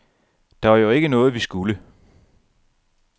Det var jo ikke noget, vi skulle.